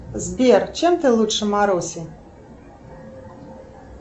сбер чем ты лучше маруси